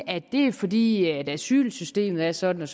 at det er fordi asylsystemet er sådan